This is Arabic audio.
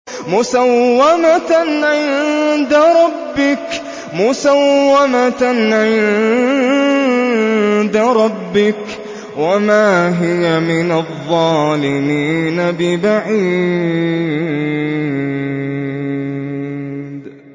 مُّسَوَّمَةً عِندَ رَبِّكَ ۖ وَمَا هِيَ مِنَ الظَّالِمِينَ بِبَعِيدٍ